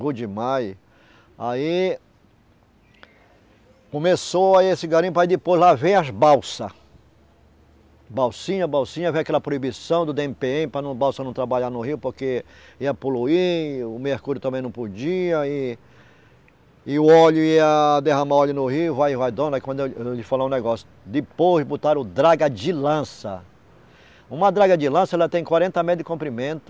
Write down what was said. aí começou aí esse garimpo aí depois, lá veio as balsas balsinha, balsinha, veio aquela proibição do dê eme pê eme para não balsa não trabalhar no rio porque ia poluir, o mercúrio também não podia e e o óleo ia derramar óleo no rio, vai, vai, dona, aí quando eu vou lhe falar um o negócio depois botaram o draga de lança uma draga de lança, ela tem quarenta metros de comprimento